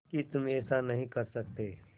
कि तुम ऐसा नहीं कर सकते